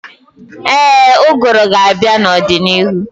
Ee, ụgụrụ ga-abịa n'ọdịnihu.